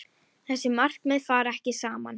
Þessi markmið fara ekki saman.